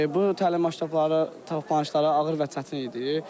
Bu təlim məşq tapşırıqları ağır və çətin idi.